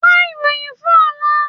Wá ìròyìn fún ọ̀la.